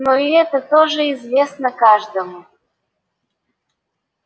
но и это тоже известно каждому